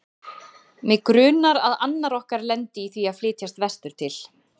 Mig grunar, að annar okkar lendi í því að flytjast vestur til